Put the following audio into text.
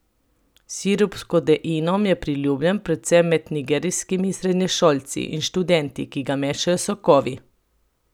Sirup s kodeinom je priljubljen predvsem med nigerijskimi srednješolci in študenti, ki ga mešajo s sokovi.